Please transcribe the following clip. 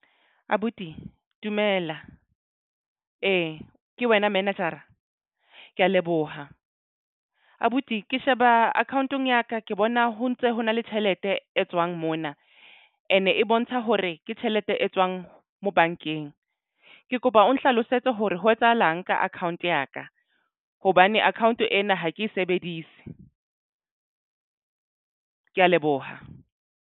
Abuti dumela ke wena manager-a ke ya leboha abuti ke sheba account-ong ya ka ke bona ho ntse ho na le tjhelete e tswang mona and e bontsha hore ke tjhelete e tswang mo bankeng. Ke kopa o nhlalosetse hore ho etsahalang nka account ya ka hobane account ena ha ke e sebedise. Ke ya leboha.